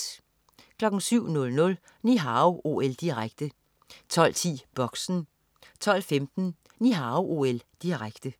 07.00 Ni Hao OL, direkte 12.10 Boxen 12.15 Ni Hao OL, direkte